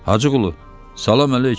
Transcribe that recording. Hacıqulu, salam əleyküm.